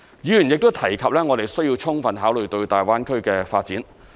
議員亦提及我們要充分考慮大灣區的發展。